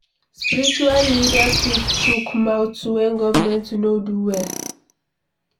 Spiritual leaders fit chook mouth when governemnt no do well